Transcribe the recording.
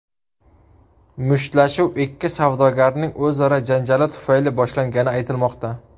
Mushtlashuv ikki savdogarning o‘zaro janjali tufayli boshlangani aytilmoqda.